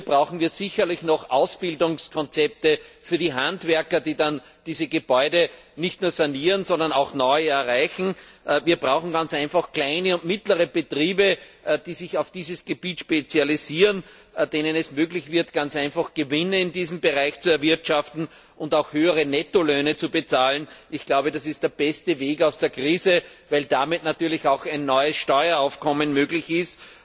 Hier brauchen wir sicherlich noch Ausbildungskonzepte für die Handwerker, die dann diese Gebäude nicht nur sanieren, sondern auch neue errichten. Wir brauchen kleine und mittlere Betriebe, die sich auf dieses Gebiet spezialisieren und denen es möglich gemacht wird, Gewinne in diesem Bereich zu erwirtschaften und höhere Nettolöhne zu zahlen. Ich glaube, das ist der beste Weg aus der Krise, weil damit natürlich auch ein neues Steueraufkommen möglich ist,